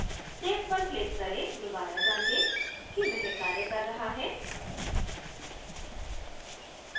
save पर click करें दुबारा जाँचे कि वह कार्य कर रहा है